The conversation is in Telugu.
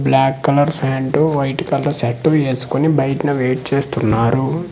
Black colour pants white colour shirt వేసుకొని బైటనా వేట్ చేస్తున్నారు.